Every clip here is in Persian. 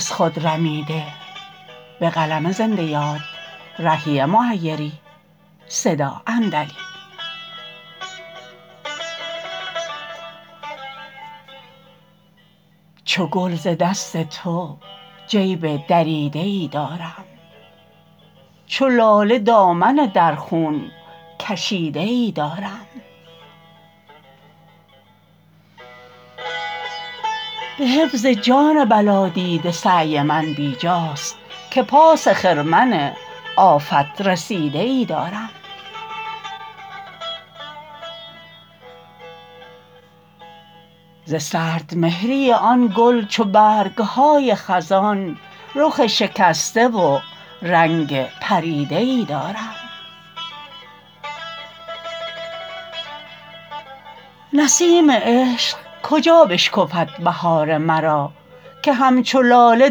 چو گل ز دست تو جیب دریده ای دارم چو لاله دامن در خون کشیده ای دارم به حفظ جان بلا دیده سعی من بی جاست که پاس خرمن آفت رسیده ای دارم ز سردمهری آن گل چو برگ های خزان رخ شکسته و رنگ پریده ای دارم نسیم عشق کجا بشکفد بهار مرا که همچو لاله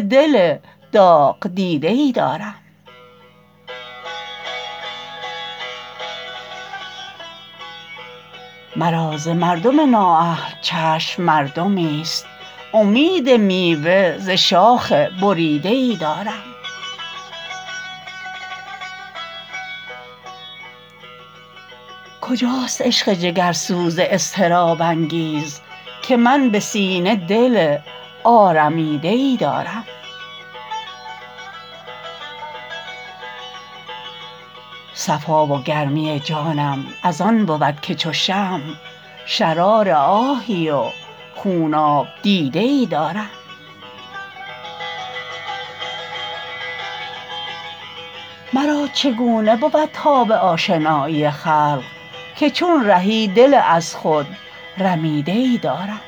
دل داغ دیده ای دارم مرا ز مردم نااهل چشم مردمی است امید میوه ز شاخ بریده ای دارم کجاست عشق جگرسوز اضطراب انگیز که من به سینه دل آرمیده ای دارم صفا و گرمی جانم از آن بود که چو شمع شرار آهی و خوناب دیده ای دارم مرا چگونه بود تاب آشنایی خلق که چون رهی دل از خود رمیده ای دارم